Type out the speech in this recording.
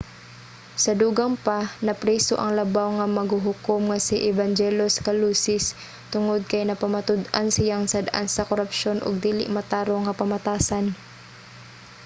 sa dugang pa napriso ang labaw nga maghuhukom nga si evangelos kalousis tungod kay napamatud-an siyang sad-an sa korapsyon ug dili matarong nga pamatasan